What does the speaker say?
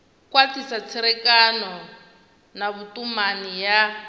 khwathisa tserekano na vhutumani ya